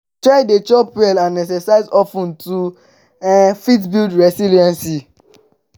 try de chop well and exercise of ten to um fit build resilience